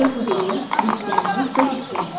Yəhudilik, Xristianlıq və İslam.